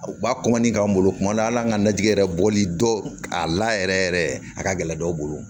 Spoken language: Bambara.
U b'a k'an bolo kuma dɔw la ala an ka najini yɛrɛ bɔli dɔw a la yɛrɛ yɛrɛ a ka gɛlɛn dɔw bolo